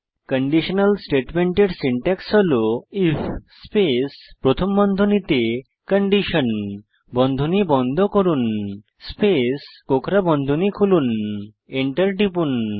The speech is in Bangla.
কন্ডিশনাল স্টেটমেন্টের সিনট্যাক্স হল160 আইএফ স্পেস প্রথম বন্ধনীতে কন্ডিশন বন্ধনী বন্ধ করুন স্পেস কোঁকড়া বন্ধনী খুলুন এন্টার টিপুন